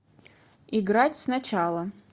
играть сначала